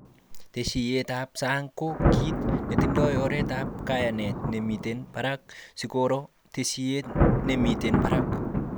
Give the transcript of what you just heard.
Tesisyiyab sang ko kit netindoi oretab kayanet nemiten barak sikoro tesisyit nemiten baraka